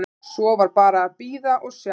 Svo var bara að bíða og sjá.